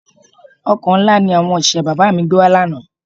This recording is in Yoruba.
Ọkọ́ ńlá ni àwọn òṣìṣẹ́ bàbá mi gbé wa lánàá